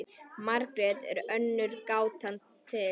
Margrét er önnur gátan til.